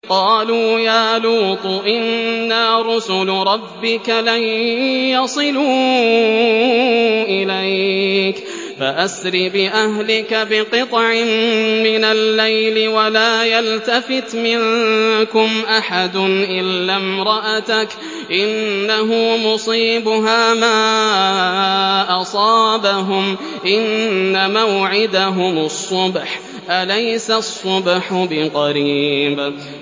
قَالُوا يَا لُوطُ إِنَّا رُسُلُ رَبِّكَ لَن يَصِلُوا إِلَيْكَ ۖ فَأَسْرِ بِأَهْلِكَ بِقِطْعٍ مِّنَ اللَّيْلِ وَلَا يَلْتَفِتْ مِنكُمْ أَحَدٌ إِلَّا امْرَأَتَكَ ۖ إِنَّهُ مُصِيبُهَا مَا أَصَابَهُمْ ۚ إِنَّ مَوْعِدَهُمُ الصُّبْحُ ۚ أَلَيْسَ الصُّبْحُ بِقَرِيبٍ